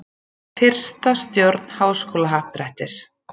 Fyrsta stjórn Háskólahappdrættis.